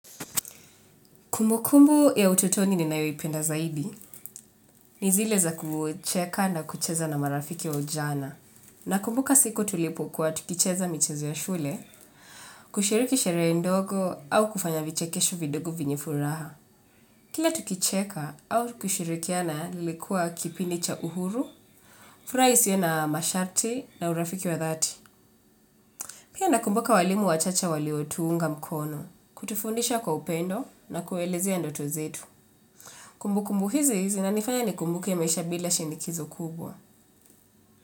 Kumbukumbu ya utotoni ni nayoipenda zaidi, ni zile za kucheka na kucheza na marafiki wa ujana. Na kumbuka siku tulipokuwa tukicheza michezo ya shule, kushiriki sherehe ndogo au kufanya vichekesho vidogo vyenye furaha. Kila tukicheka au kushirikiana lilikua kipindi cha uhuru, furaha isiyo na masharti na urafiki wa dhati. Pia nakumbuka walimu wachache waliotuunga mkono, kutufundisha kwa upendo na kuelezea ndoto zetu. Kumbu kumbu hizi zinanifanya ni kumbuke maisha bila shinikizo kubwa.